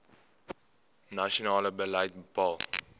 nasionale beleid bepaal